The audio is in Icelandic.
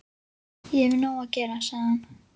Ég hef nóg að gera, sagði hann.